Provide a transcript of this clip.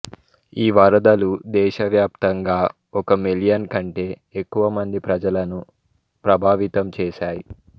ఈ వరదలు దేశవ్యాప్తంగా ఒక మిలియన్ కంటే ఎక్కువ మంది ప్రజలను ప్రభావితం చేశాయి